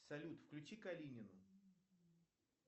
салют включи калинину